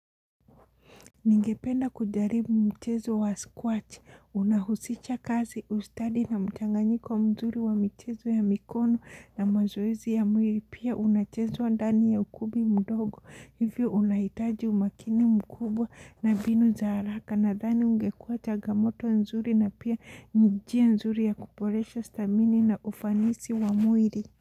Ningependa kujaribu mchezo wa squat, unahusicha kazi, ustadi na mchanganyiko mzuri wa mchezo ya mikono na mazoezi ya mwiri, pia unachezo wa dani ya ukumbi mdogo, hivyo unahitaji umakini mkubwa na binu za haraka na dani ungekua chagnamoto mzuri na pia njia mzuri ya kuporesha stamini na ufanisi wa mwiri.